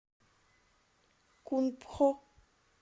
кунпхо